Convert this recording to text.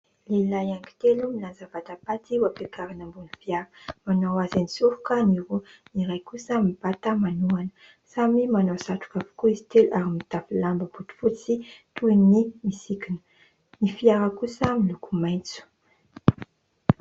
Lehilahy anakitelo milanja vatapaty ho ampiakarina ambony ny fiara manao azy an-tsoroka ny roa ny iray kosa mibata manohana. Samy manao satroka avokoa izy telo ary mitafy lamba botifotsy toy ny misikina. Ny fiara kosa miloko maitso.